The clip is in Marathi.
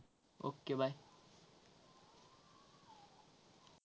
Okay bye.